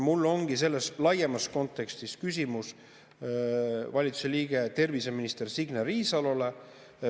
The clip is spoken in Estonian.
Mul ongi selles laiemas kontekstis küsimus valitsuse liikmele, terviseminister Signe Riisalole.